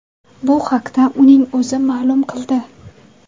Bu haqda uning o‘zi ma’lum qildi .